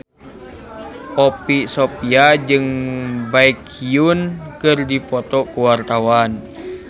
Poppy Sovia jeung Baekhyun keur dipoto ku wartawan